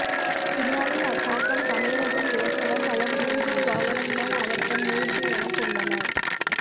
பின்னாளில் அத்தாக்கம் தமிழகத்தில் ஏற்பட பலர் மூஞ்சூறு வாகனம்தான் அவர்தம் ஊர்தி எனக் கொண்டனர்